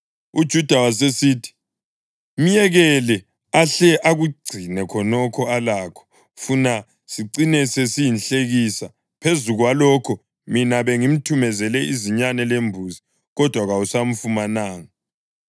UJuda wasesithi, “Myekele ahle akugcine khonokho alakho funa sicine sesiyinhlekisa. Phezu kwalokho mina bengimthumezele izinyane lembuzi, kodwa kawusamfumananga.”